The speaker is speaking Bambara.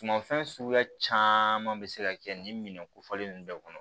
Sumanfɛn suguya caman bɛ se ka kɛ nin minɛn ko fɔlen ninnu bɛɛ kɔnɔ